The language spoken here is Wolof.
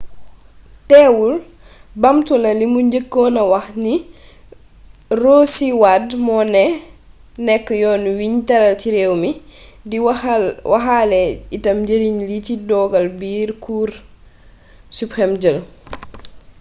teewul baamtu na limu njëkkoon a wax ni roe c. wade moo nekk «yoon wiñ tëral ci réew mi» di waxaale itam njariñ li ci dogal bi cour supreme jël